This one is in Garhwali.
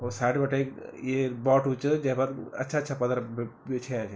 और सेड बटे ये बाटू च जैफर अच्छा अच्छा पत्थर ब बिछया छि।